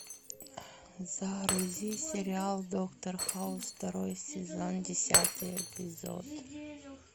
загрузи сериал доктор хаус второй сезон десятый эпизод